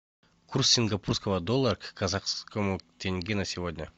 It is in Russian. курс сингапурского доллара к казахскому тенге на сегодня